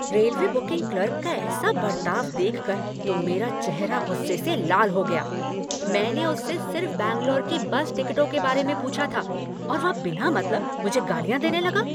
Railway booking clerk का ऐसा बर्ताव देखकर तो मेरा चेहरा गुस्से से लाल हो गया, मैंने उससे सिर्फ बैंगलोर की बस टिकटों के बारे में पूछा था और वह बिना मतलब मुझे गालियाँ देने लगा।